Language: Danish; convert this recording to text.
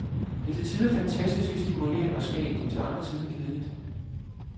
Det er til tider fantastisk stimulerende og skægt, til andre tider kedeligt.